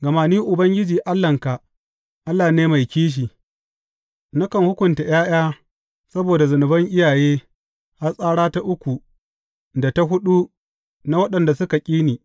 Gama Ni, Ubangiji Allahnka, Allah ne mai kishi, nakan hukunta ’ya’ya saboda zunuban iyaye har tsara ta uku da ta huɗu na waɗanda suka ƙi ni.